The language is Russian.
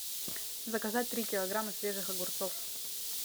заказать три килограмма свежих огурцов